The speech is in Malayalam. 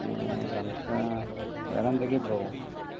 ഏർ സംസാ വേറെ എന്തെങ്കിലും ഉണ്ടോ